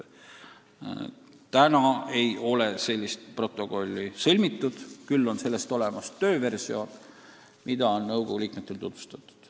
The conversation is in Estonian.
Seni ei ole seda protokolli sõlmitud, küll on sellest olemas tööversioon, mida on nõukogu liikmetele tutvustatud.